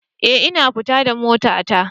Eh, ina fita da motata